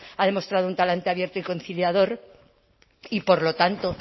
ha demostrado un talante abierto y conciliador y por lo tanto